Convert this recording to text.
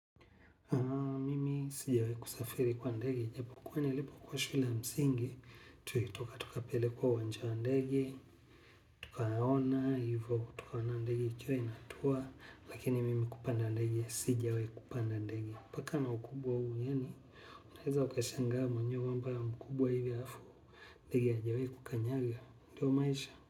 Mimi sijawahi kusafiri kwa ndege, japokuwa nilipokuwa shule ya msingi, tulitoka tukapelekwa uwanja wa ndege, tukaona, ivo, tukaona ndege ikiwa inatua, lakini mimi kupanda ndege, sijawahi kupanda ndege. Mpaka na ukubwa huu, yaani, unaweza ukashangaa mwenyewe kwamba mkubwa hivi alafu, ndege hajawahi kukanyaga, ndio maisha.